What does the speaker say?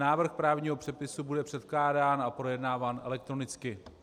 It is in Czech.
Návrh právního předpisu bude předkládán a projednáván elektronicky.